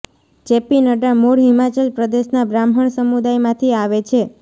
JP Nadda મૂળ હિમાચલ પ્રદેશના બ્રાહ્મણ સમૂદાયમાંથી આવે છે